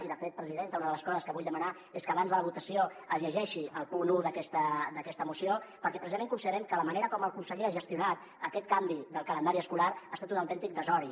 i de fet presidenta una de les coses que vull demanar és que abans de la votació es llegeixi el punt un d’aquesta moció perquè precisament consi·derem que la manera com el conseller ha gestionat aquest canvi del calendari escolar ha estat un autèntic desori